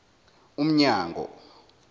umnyango